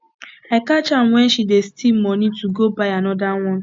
i catch am wen she dey steal money to go buy another one